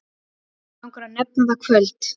Langar að nefna það kvöld.